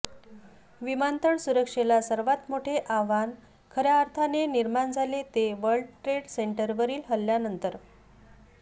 विमानतळ सुरक्षेला सर्वात मोठे आव्हान खऱ्या अर्थाने निर्माण झाले ते वर्ल्ड ट्रेड सेंटरवरील हल्ल्यानंतर